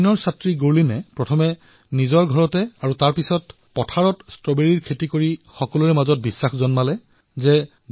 আইনৰ ছাত্ৰী গুৰলীনে প্ৰথমে নিজৰ ঘৰত আৰু পিছত নিজৰ কৃষিভূমিতত ষ্ট্ৰবেৰীৰ খেতি কৰি ঝাঁচীতো ইয়াৰ খেতি কৰিব পাৰে বুলি সকলোকে প্ৰত্যয়িত কৰিছে